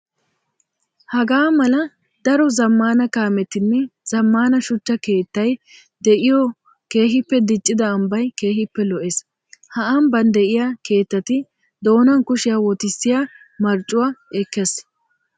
Hagaa mala daro zamaana kaamettinne zamaana shuchcha keettay de'iyo keehippe diccidda ambbay keehippe lo'ees. Ha ambban de'iya keettati doonan kushiya wottissiya marccuwa ekees.